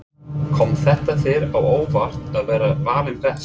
Kom þetta þér á óvart að vera valinn best?